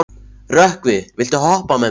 Rökkvi, viltu hoppa með mér?